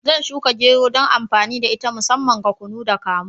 Zan shuka gero dan amfani da ita musamman ga kunu da kamu.